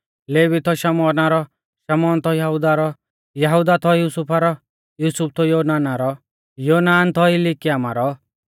लेवी थौ शमौना रौ शमौन थौ यहुदा रौ यहुदा थौ युसुफा रौ युसुफ थौ योनाना रौ योनान थौ इलियाकीमा रौ